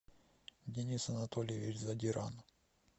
денис анатольевич задиран